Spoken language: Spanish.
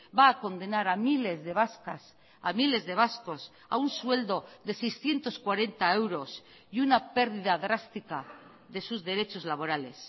va a condenar a miles de vascas a miles de vascos a un sueldo de seiscientos cuarenta euros y una pérdida drástica de sus derechos laborales